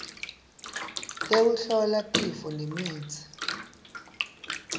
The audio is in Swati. tekuhlola tifo nemitsi